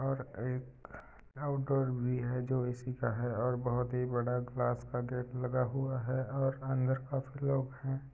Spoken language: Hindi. और एक भी हैं जो इसी का है और बहोत ही बड़ा ग्लास का गेट लगा हुआ हैं और अंदर काफी लोग हैं ।